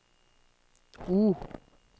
O